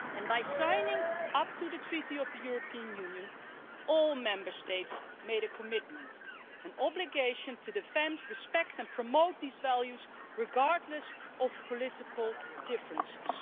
By signing up to the Treaty on European Union, all the Member States made a commitment an obligation to defend, respect and promote these values, regardless of political differences.